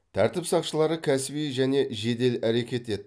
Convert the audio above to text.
тәртіп сақшылары кәсіби және жедел әрекет етті